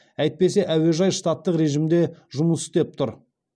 әйтпесе әуежай штаттық режімде жұмыс істеп тұр